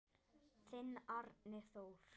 Þinn Árni Þór.